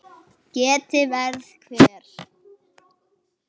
Ég heyrði ekki betur.